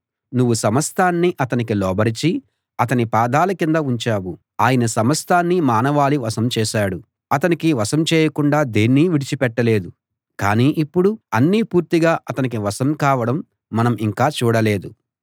నువ్వు సమస్తాన్నీ అతనికి లోబరచి అతని పాదాల కింద ఉంచావు ఆయన సమస్తాన్నీ మానవాళి వశం చేశాడు అతనికి వశం చేయకుండా దేన్నీ విడిచిపెట్టలేదు కానీ ఇప్పుడు అన్నీ పూర్తిగా అతనికి వశం కావడం మనం ఇంకా చూడలేదు